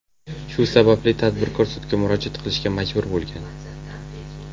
Shu sababli tadbirkor sudga murojaat qilishga majbur bo‘lgan.